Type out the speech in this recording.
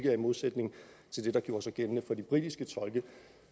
er i modsætning til det der gjorde sig gældende for de britiske tolke